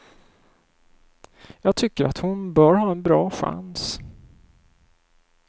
Jag tycker att hon bör ha en bra chans.